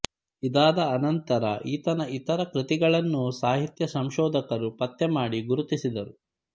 ಇದಾದ ಅನಂತರ ಈತನ ಇತರ ಕೃತಿಗಳನ್ನೂ ಸಾಹಿತ್ಯ ಸಂಶೋಧಕರು ಪತ್ತೆಮಾಡಿ ಗುರುತಿಸಿದರು